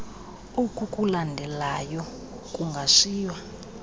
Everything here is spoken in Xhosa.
oku kulandelayo kungashiywa